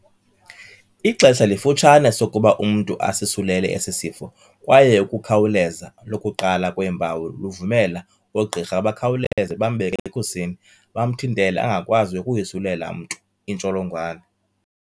Ixesha lifutshane sokuba umntu asisulele esi sifo kwaye ukukhawuleza lokuqala kweempawu luvumela oogqirha bakhawuleze bambeke ekhusini, bamthintele angakwazi ukuyisulela mntu intsholongwane.